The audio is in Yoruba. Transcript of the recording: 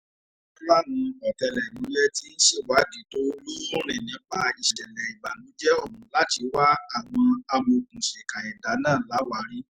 wọ́n láwọn ọ̀tẹlẹ̀múyẹ́ tí ń ṣèwádìí tó lóòrìn nípa ìṣẹ̀lẹ̀ ìbànújẹ́ ọ̀hún láti wá àwọn amọ̀òkùnsíkà ẹ̀dà náà láwàárí